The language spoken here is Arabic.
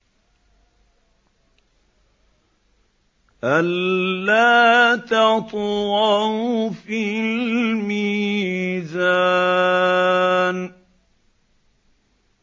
أَلَّا تَطْغَوْا فِي الْمِيزَانِ